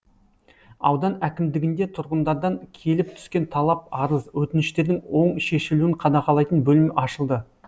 аудан әкімдігінде тұрғындардан келіп түскен талап арыз өтініштердің оң шешілуін қадағалайтын бөлім ашылды